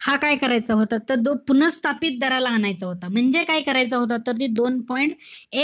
हा काय करायचा होता, तर तो पुनःस्थापित दराला आणायचा होता. म्हणजे काय करायचा होता तर, ते दोन point